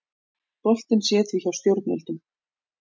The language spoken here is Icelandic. Boltinn sé því hjá stjórnvöldum